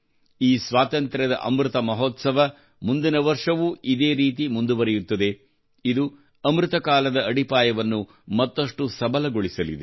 ಈ ಸ್ವಾತಂತ್ರ್ಯದ ಅಮೃತ ಮಹೋತ್ಸವವು ಮುಂದಿನ ವರ್ಷವೂ ಇದೇ ರೀತಿ ಮುಂದುವರಿಯುತ್ತದೆ ಇದು ಅಮೃತ ಕಾಲದ ಅಡಿಪಾಯವನ್ನು ಮತ್ತಷ್ಟು ಸಬಲಗೊಳಿಸಲಿದೆ